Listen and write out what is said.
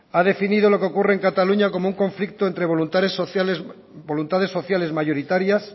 ha definido lo que ocurre en cataluña como un conflicto entre voluntades sociales mayoritarias